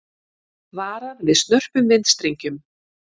Varað við snörpum vindstrengjum